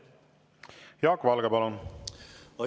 Jaak Valge, palun!